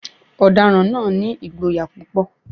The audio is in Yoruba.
Ọ̀daràn náà ni ìgboyà púpọ̀.